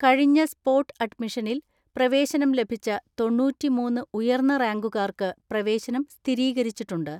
കഴിഞ്ഞ സ്പോട്ട് അഡ്മിഷനിൽ പ്രവേശനം ലഭിച്ച തൊണ്ണൂറ്റിമൂന്ന് ഉയർന്ന റാങ്കുകാർക്ക് പ്രവേശനം സ്ഥിരീകരിച്ചിട്ടുണ്ട്.